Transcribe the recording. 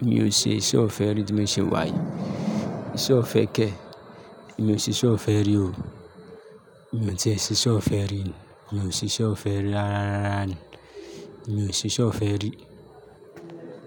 Èmi ò ṣe iṣẹ́ ọ̀fẹ́ rí tí mo ṣe wàyí. Ìṣe ọ̀fẹ́ kẹ́. Èmi ò ṣe iṣẹ́ ọ̀fẹ́ rí o. Èmi ò tí ẹ ṣe iṣẹ́ ọ̀fẹ́ rí. Èmi ò ṣe iṣẹ́ ọ̀fẹ́ rí rárá rárá ni. Èmi ò ṣe iṣẹ́ ọ̀fẹ́ rí.